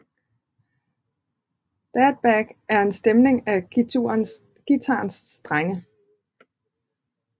DADGAD er en stemning af guitarens strenge